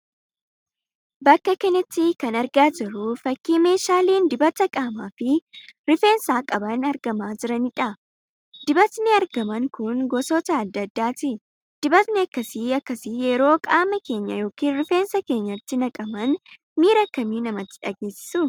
Bakka kanatti kan argaa jirru fakkii meeshaaleen dibata qaamaa fi rifeensaa qaban argamaa jiraniidha. Dibatni argaman kun gosoota adda addaati. Dibatni akkas akkasi yeroo qaama keenya ykn rifeensa keenyatti naqaman miira akkamii namatti dhageessisu?